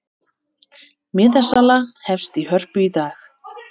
Miðasala hefst í Hörpu í dag